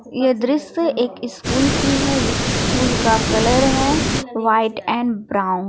यह दृश्य एक स्कूल की है स्कूल का कलर व्हाइट एंड ब्राउन है।